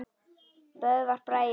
Böðvar Bragi Pálsson